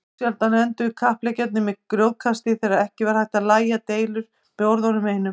Ósjaldan enduðu kappleikirnir með grjótkasti þegar ekki var hægt að lægja deilur með orðunum einum.